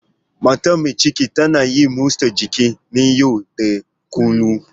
Matar mai ciki ta na yin motsa jiki na yau da kullun.